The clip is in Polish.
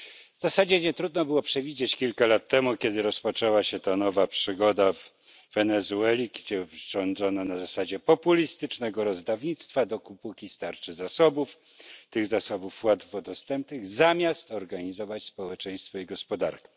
W zasadzie nietrudno było to przewidzieć kilka lat temu, kiedy rozpoczęła się ta nowa przygoda w Wenezueli, gdzie rządzono na zasadzie populistycznego rozdawnictwa, dopóki starczy zasobów, tych zasobów łatwo dostępnych, zamiast organizować społeczeństwo i gospodarkę.